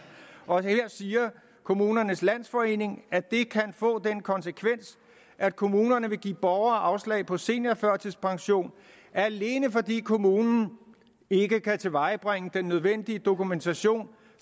også her siger kommunernes landsforening at det kan få den konsekvens at kommunerne vil give borgere afslag på seniorførtidspension alene fordi kommunen ikke kan tilvejebringe den nødvendige dokumentation